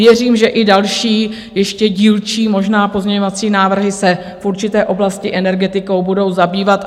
Věřím, že i další ještě dílčí možné pozměňovací návrhy se v určité oblasti energetikou budou zabývat.